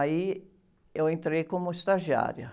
Aí eu entrei como estagiária.